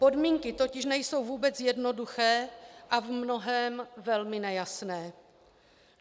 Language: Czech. Podmínky totiž nejsou vůbec jednoduché a v mnohém velmi nejasné.